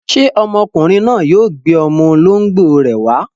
Ṣé ọmọkùnrin náà yóò gbé ọmọ olóńgbò rẹ̀ wá?